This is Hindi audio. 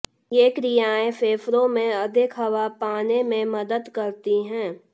ये क्रियाएं फेफड़ों में अधिक हवा पाने में मदद करती हैं